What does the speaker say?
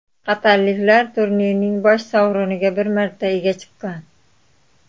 Qatarliklar turnirning bosh sovriniga bir marta ega chiqqan.